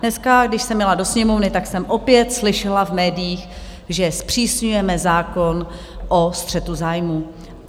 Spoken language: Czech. Dneska, když jsem jela do Sněmovny, tak jsem opět slyšela v médiích, že zpřísňujeme zákon o střetu zájmů.